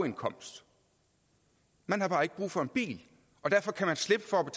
indkomst man har bare ikke brug for en bil og derfor kan man slippe for at